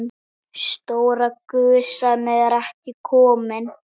Stóra gusan er ekki komin.